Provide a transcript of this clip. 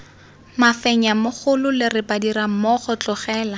mafenya mogolole re badirammogo tlogela